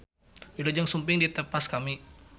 Wilujeng Sumping di tepas kami.